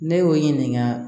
Ne y'o ɲininka